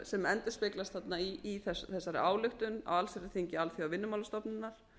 sem endurspeglast þarna í þessari ályktun á allsherjarþingi alþjóðavinnumálastofnunar